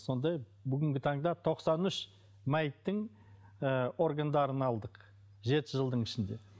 сондай бүгінгі таңда тоқсан үш мәйіттің ы органдарын алдық жеті жылдың ішінде